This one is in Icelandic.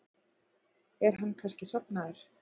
Er hann kannski sofnaður?